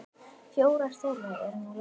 Fjórar þeirra eru nú látnar.